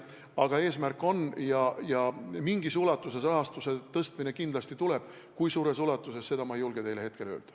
Aga eesmärk meil on ja mingis ulatuses rahastuse suurendamine kindlasti tuleb, kui suures ulatuses, seda ei julge ma hetkel öelda.